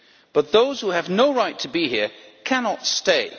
But those who have no right to be here cannot stay.